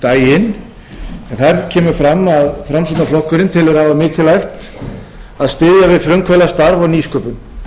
daginn en þar kemur fram að framsóknarflokkurinn telur afar mikilvægt að styðja við frumkvöðlastarf og nýsköpun